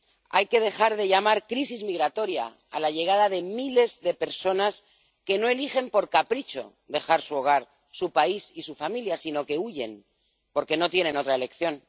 Hay que dejar de llamar crisis migratoria a la llegada de miles de personas que no eligen por capricho dejar su hogar, su país y su familia, sino que huyen porque no tienen otra elección.